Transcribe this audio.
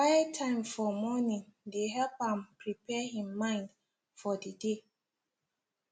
quiet time for morning dey help am prepare him mind for the day